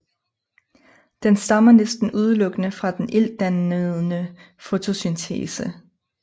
Den stammer næsten udelukkende fra den iltdannende fotosyntese